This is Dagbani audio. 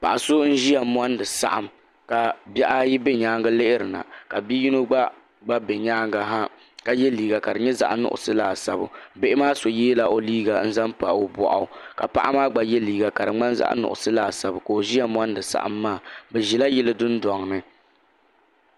Paɣa so n ziya mondi saɣim ka bihi ayi bɛ yɛanga lihiri na bia yino gba bɛ yɛanga ha ka ye liiga ka di nyɛ zaɣi nuɣiso laasabu biha maa so yiɛla o liiga n zaŋ pa o bɔɣu ka paɣa maa gba ye liiga ka di mŋani zaɣi nuɣiso laasabu ka o ziya mondi saɣim maa bi zila yili dundɔŋ ni.